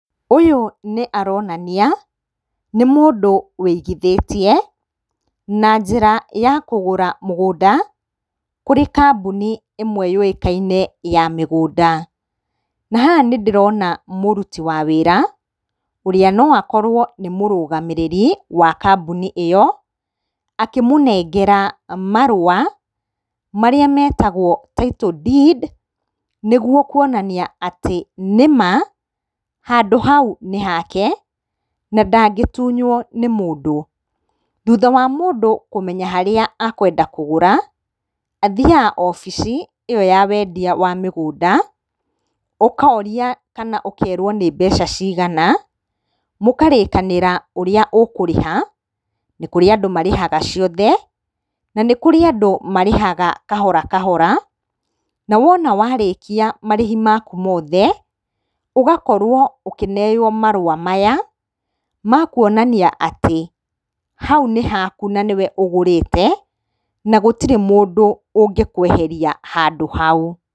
Ũyũ nĩ aronania nĩ mũndũ wĩigithĩtie na njĩra ya kũgũra mũgũnda kũrĩ kambuni ĩmwe yũĩkaine ya mĩgũnda. Na haha nĩ ndĩrona mũruti wa wĩra, ũrĩa no akorwo nĩ mũrũgamĩrĩri wa kambuni ĩyo, akĩmũnengera marũa marĩa metagwo Title Deed nĩguo kuonania atĩ nĩma handũ hau nĩ hake na ndangĩtunywo nĩ mũndũ. Thutha wa mũndũ kũmenya harĩa akwenda kũgũra, athiaga wabici ĩyo ya wendia wa mĩgũnda, ũkaoria kana ũkerwo nĩ mbeca cigana, mũkarĩkanĩra ũrĩa ũkũrĩha, nĩ kũrĩ andũ marĩhaga ciothe na nĩ kũrĩ andũ marĩhaga kahora kahora. Na wona warĩkia marĩhi maku mothe, ũgakorwo ũkĩneywo marũa maya ma kuonania atĩ hau nĩ haku na nĩ we ũgũrĩte na gũtirĩ mũndũ ũngĩkũeheria handũ hau.